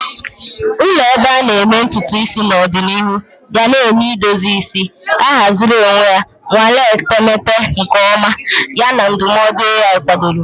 Ụlọ ebe a na-eme ntutu isi n'ọdịnihu ga-enye edozi isi ahaziri onwe ya, nnwale etemeete nke ọma, yana ndụmọdụ AI kwadoro.